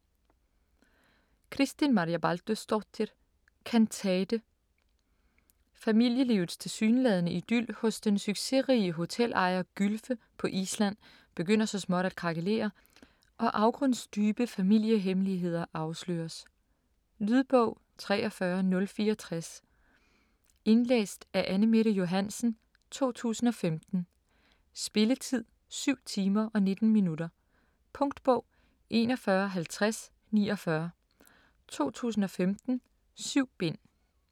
Kristín Marja Baldursdóttir: Kantate Familielivets tilsyneladende idyl hos den succesrige hotelejer Gylfe på Island begynder så småt at krakelere og afgrundsdybe familiehemmeligheder afsløres. Lydbog 43064 Indlæst af Anne-Mette Johansen, 2015. Spilletid: 7 timer, 19 minutter. Punktbog 415049 2015. 7 bind.